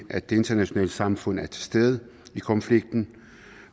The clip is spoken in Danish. at det internationale samfund er til stede i konflikten